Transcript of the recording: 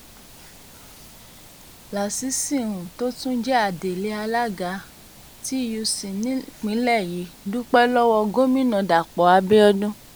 lasisi um tó tún jẹ́ adelé alága um tuc nípínlẹ̀ yìí dúpẹ́ lọ́wọ́ gómìnà dàpọ̀ abiodun